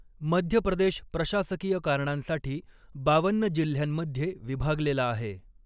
मध्य प्रदेश प्रशासकीय कारणांसाठी बावन्न जिल्ह्यांमध्ये विभागलेला आहे.